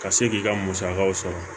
Ka se k'i ka musakaw sɔrɔ